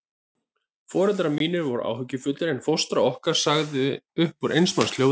Foreldrar mínir voru áhyggjufullir, en fóstra okkar sagði upp úr eins manns hljóði